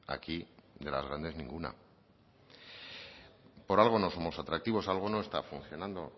aquí de las grandes ninguna por algo no somos atractivos algo no está funcionando